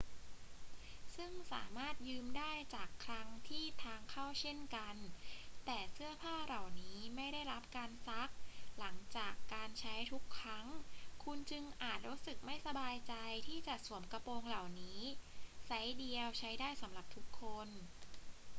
ซึ่งสามารถยืมได้จากคลังที่ทางเข้าเช่นกัน แต่เสื้อผ้าเหล่านี้ไม่ได้รับการซักหลังจากการใช้ทุกครั้ง คุณจึงอาจรู้สึกไม่สบายใจที่จะสวมกระโปรงเหล่านี้ ไซซ์เดียวใช้ได้สำหรับทุกคน